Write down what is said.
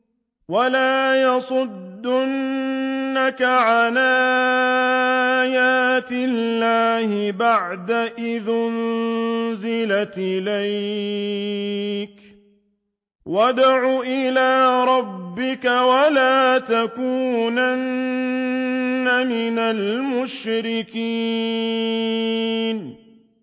وَلَا يَصُدُّنَّكَ عَنْ آيَاتِ اللَّهِ بَعْدَ إِذْ أُنزِلَتْ إِلَيْكَ ۖ وَادْعُ إِلَىٰ رَبِّكَ ۖ وَلَا تَكُونَنَّ مِنَ الْمُشْرِكِينَ